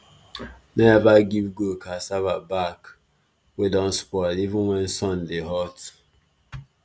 no ever give goat cassava back wey don spoil even when sun dey hot